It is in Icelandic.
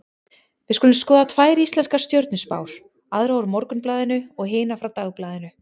Við skulum skoða tvær íslenskar stjörnuspár, aðra úr Morgunblaðinu og hina frá Dagblaðinu.